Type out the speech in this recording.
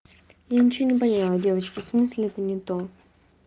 я ничего не поняла девочки в смысле это не то